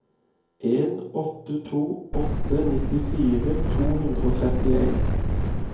en åtte to åtte nittifire to hundre og trettien